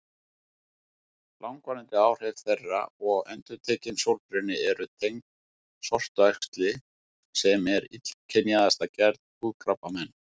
Langvarandi áhrif þeirra og endurtekinn sólbruni eru tengd sortuæxli sem er illkynjaðasta gerð húðkrabbameina.